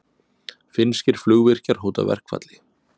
Finnskir flugvirkjar hóta verkfalli